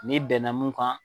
N'i bɛnna mun kan